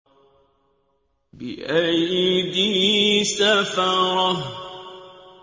بِأَيْدِي سَفَرَةٍ